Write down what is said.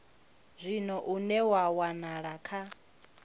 zwino une wa wanala kha